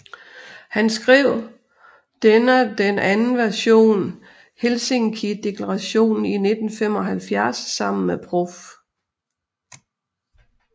Han skrev dena den anden version Helsinkideklarationen i 1975 sammen med Prof